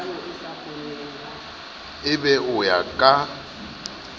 e be o ya ka